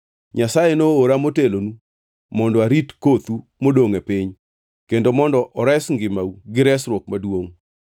Nyasaye noora motelonu mondo arit kothu modongʼ e piny kendo mondo ores ngimau gi resruok maduongʼ.